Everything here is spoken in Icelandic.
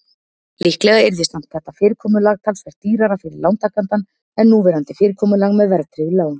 Líklega yrði samt þetta fyrirkomulag talsvert dýrara fyrir lántakann en núverandi fyrirkomulag með verðtryggð lán.